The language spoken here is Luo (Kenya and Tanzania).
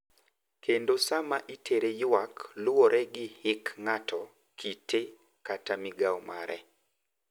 Kendo sa ma itere yuak luwore gi hik ng`ato, kite kata migao mare.